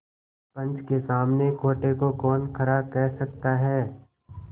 पंच के सामने खोटे को कौन खरा कह सकता है